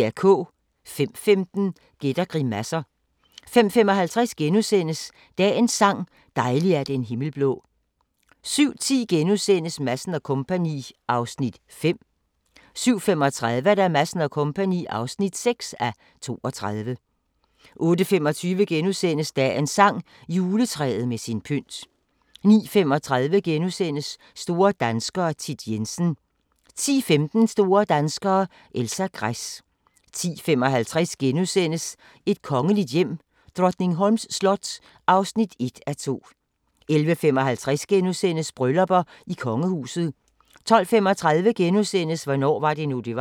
05:15: Gæt og grimasser 05:55: Dagens sang: Dejlig er den himmel blå * 07:10: Madsen & Co. (5:32)* 07:35: Madsen & Co. (6:32) 08:25: Dagens sang: Juletræet med sin pynt * 09:35: Store danskere - Thit Jensen * 10:15: Store danskere - Elsa Gress 10:55: Et kongeligt hjem: Drottningholms slot (1:2)* 11:55: Bryllupper i kongehuset * 12:35: Hvornår var det nu, det var? *